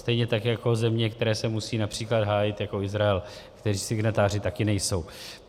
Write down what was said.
Stejně tak jako země, které se musí například hájit, jako Izrael, které signatáři také nejsou.